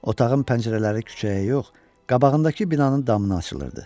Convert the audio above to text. Otağın pəncərələri küçəyə yox, qabağındakı binanın damına açılırdı.